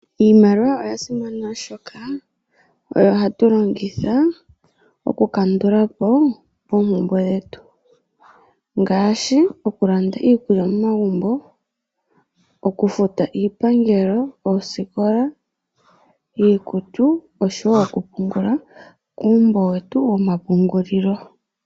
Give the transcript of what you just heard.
Iimaliwa oyasimana oshoka oyo hatu longitha okukandula po oompumbwe dhetu ngaashi okulanda iikulya momagumbo, okufuta iipangelo, oosikola, iikutu, oshowo okupungula kuumbo wetu womapungulilo.